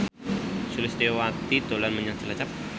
Sulistyowati dolan menyang Cilacap